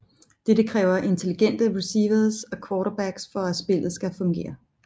Dette kræver intelligente receivers og quarterbacks for at spillet skal fungere